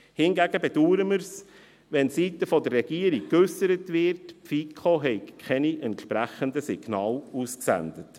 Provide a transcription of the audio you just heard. Hingegen bedauern wir, wenn seitens der Regierung geäussert wird, die FiKo habe keine entsprechenden Signale ausgesandt.